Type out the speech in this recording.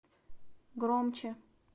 громче